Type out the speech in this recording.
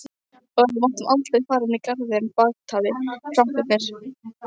Og við máttum aldrei fara inn í garðinn bakatil, krakkarnir.